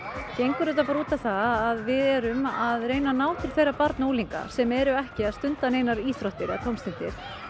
gengur út á það að við erum að reyna að ná til þeirra barna og unglinga sem eru ekki að stunda neinar íþróttir eða tómstundir